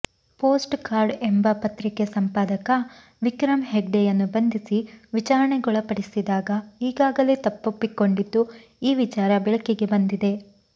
post card ಎಂಬ ಪತ್ರಿಕೆ ಸಂಪಾದಕ ವಿಕ್ರಮ್ ಹೆಗ್ಡೆಯನ್ನು ಬಂಧಿಸಿ ವಿಚಾರಣೆಗೊಳಪಡಿಸಿದಾಗ ಈಗಾಗಲೇ ತಪ್ಪೊಪ್ಪಿಕೊಂಡಿದ್ದು ಈ ವಿಚಾರ ಬೆಳಕಿಗೆ ಬಂದಿದೆ